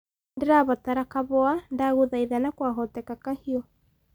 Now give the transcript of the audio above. nĩndĩrabatara kahũa ndaguthaitha na kwa hotekeka kahiu